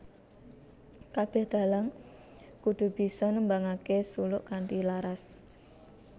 Kabeh dalang kudu bisa nembangake suluk kanthi laras